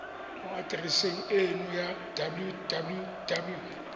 mo atereseng eno ya www